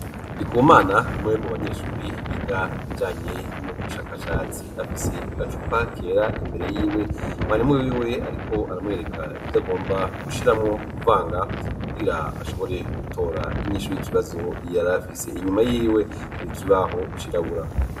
Ndikumana n' mwewe mu banyeshuri ibiga ibirjanye no gu bushakashatsi afise gacupa kera imbere yiwe mwarimu wiwe ariko aramwyereka ivyo agomba gushiramwo kuvanga bwira ashobore gutora inyinshuy'ikibazo yarafise, inyuma yiwe hari ikibaho cirabura.